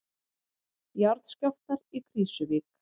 Jarðskjálftar í Krýsuvík